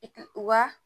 wa